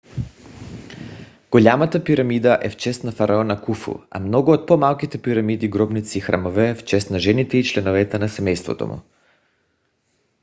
голямата пирамида е в чест на фараона куфу а много от по - малките пирамиди гробници и храмове - в чест на жените и членовете на семейството му